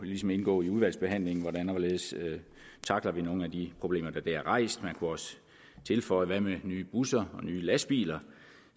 indgå i udvalgsbehandlingen hvordan og hvorledes vi tackler nogle af de problemer der bliver rejst man kunne også tilføje hvad med nye busser og nye lastbiler